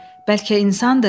Bəlkə insandır?